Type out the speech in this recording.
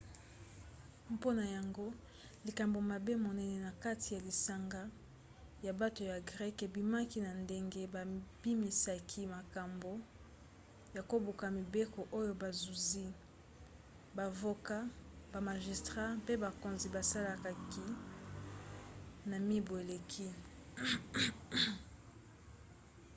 mpona yango likambo mabe monene na kati ya lisanga ya bato ya greke ebimaki na ndenge babimisaki makambo ya kobuka mibeko oyo bazuzi bavoka bamagistrat mpe bakonzi basalaki na mibu eleki